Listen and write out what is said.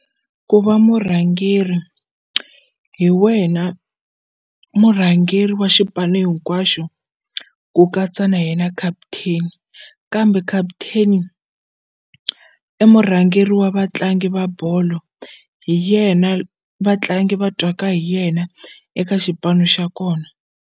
Ku va murhangeri hi wena murhangeri wa xipano hinkwaxo ku katsa na yena captain kambe captain i murhangeri wa vatlangi va bolo hi yena vatlangi va twaka hi yena eka xipano xa kona.